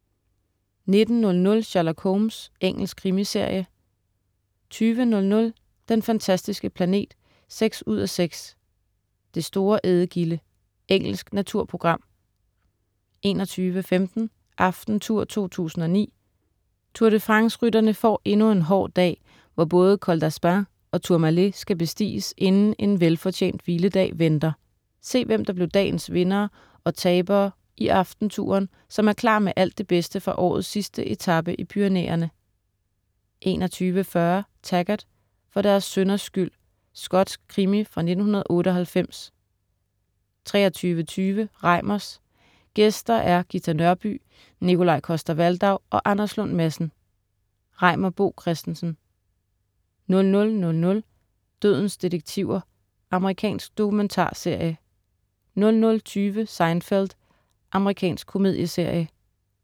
19.00 Sherlock Holmes. Engelsk krimiserie 20.00 Den fantastiske planet 6:6. Det store ædegilde. Engelsk naturprogram 21.15 Aftentour 2009. Tour de France-rytterne får endnu en hård dag, hvor både Col d'Aspin og Tourmalet skal bestiges, inden en velfortjent hviledag venter. Se, hvem der blev dagens vindere og tabere i "Aftentouren", som er klar med alt det bedste fra årets sidste etape i Pyrenæerne 21.40 Taggart: For deres synders skyld. Skotsk krimi fra 1998 23.20 Reimers. Gæster er Ghita Nørby, Nikolaj Coster-Waldau og Anders Lund Madsen. Reimer Bo Christensen 00.00 Dødens detektiver. Amerikansk dokumentarserie 00.20 Seinfeld. Amerikansk komedieserie